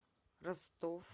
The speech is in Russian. ростов